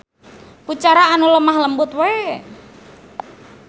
Ku cara anu lemah lembut we.